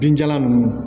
Binjalan ninnu